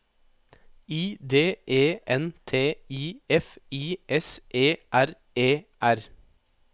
I D E N T I F I S E R E R